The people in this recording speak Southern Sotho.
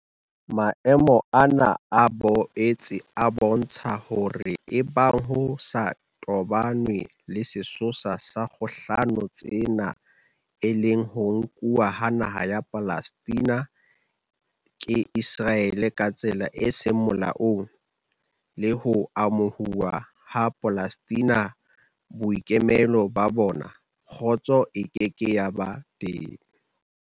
Maemo ana a boetse a bo ntsha hore ebang ho sa toba nwe le sesosa sa dikgohlano tsena e leng ho nkuwa ha naha ya Palestina ke Iseraele ka tsela e seng molaong, le ho amohuwa ha Mapalestina boikemelo ba bona, kgotso e ke ke ya ba teng.